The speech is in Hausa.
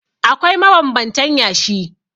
Akwai mabanbantan yashi.